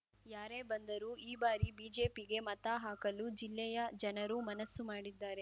ಯಾರೇ ಬಂದರೂ ಈ ಬಾರಿ ಬಿಜೆಪಿಗೆ ಮತ ಹಾಕಲು ಜಿಲ್ಲೆಯ ಜನರು ಮನಸ್ಸು ಮಾಡಿದ್ದಾರೆ